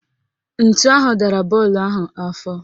Ntu ahụ dara bọọlụ ahụ afọ